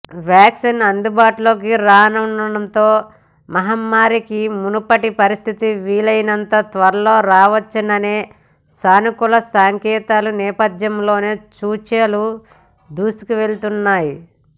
vaccine అందుబాటులోకి రానుండడంతో మహమ్మారికి మునుపటి పరిస్థితులు వీలైనంత త్వరగా రావచ్చనే సానుకూల సంకేతాల నేపథ్యంలోనే సూచీలు దూసుకెళ్తున్నాయి